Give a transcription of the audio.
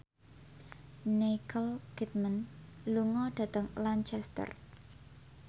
Nicole Kidman lunga dhateng Lancaster